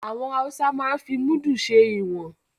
Àwọn Haúsá máa ń fi Múdù ṣe ìwọ̀n